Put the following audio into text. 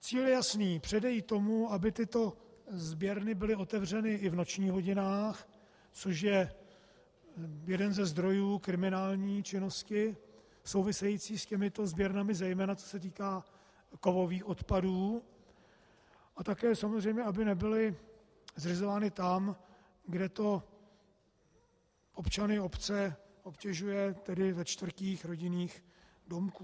Cíl je jasný - předejít tomu, aby tyto sběrny byly otevřeny i v nočních hodinách, což je jeden ze zdrojů kriminální činnosti související s těmito sběrnami, zejména co se týká kovových odpadů, a také samozřejmě aby nebyly zřizovány tam, kde to občany obce obtěžuje, tedy ve čtvrtích rodinných domků.